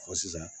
Ɔ sisan